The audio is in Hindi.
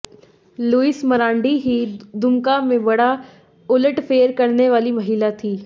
लुइस मरांडी ही दुमका में बड़ा उलटफेर करने वाली महिला थीं